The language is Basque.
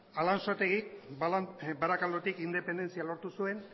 alansotegik barakaldotik independentzia lortu zuen